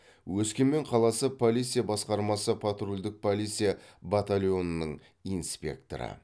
өскемен қаласы полиция басқармасы патрульдік полиция батальонының инспекторы